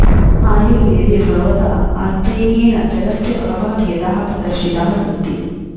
आयुर्वेदे भगवता आत्रेयेण जलस्य बहवः भेदाः प्रदर्शिताः सन्ति